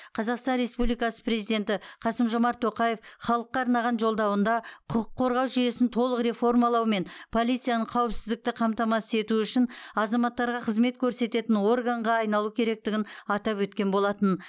қазақстан республикасы президенті қасым жомарт тоқаев халыққа арнаған жолдауында құқық қорғау жүйесін толық реформалау мен полицияның қауіпсіздікті қамтамасыз ету үшін азаматтарға қызмет көрсететін органға айналу керектігін атап өткен болатын